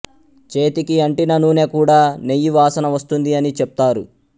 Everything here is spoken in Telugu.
చేతికి అంటిన నూనె కూడా నెయ్యివాసన వస్తుంది అని చెప్తారు